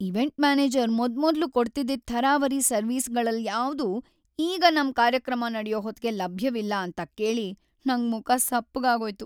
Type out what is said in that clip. Event manager ಮೊದ್ಮೊದ್ಲು ಕೊಡ್ತಿದ್ದಿದ್ ಥರಾವರಿ ಸರ್ವಿಸ್‌ಗಳಲ್ಯಾವ್ದೂ ಈಗ ನಮ್ ಕಾರ್ಯಕ್ರಮ ನಡ್ಯೋ ಹೊತ್ಗೆ ಲಭ್ಯವಿಲ್ಲ ಅಂತ ಕೇಳಿ ನಂಗ್ ಮುಖ ಸಪ್ಪಗಾಗೋಯ್ತು.